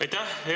Aitäh!